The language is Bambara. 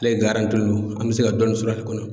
Ale don an bɛ se ka dɔɔni sɔrɔ ale kɔnɔ.